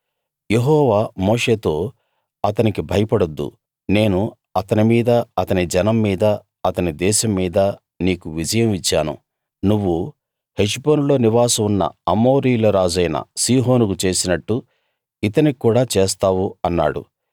యెహోవా మోషేతో అతనికి భయపడొద్దు నేను అతని మీద అతని జనం మీద అతని దేశం మీద నీకు విజయం ఇచ్చాను నువ్వు హెష్బోనులో నివాసం ఉన్న అమోరీయుల రాజైన సీహోనుకు చేసినట్టు ఇతనికి కూడా చేస్తావు అన్నాడు